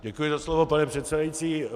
Děkuji za slovo, pane předsedající.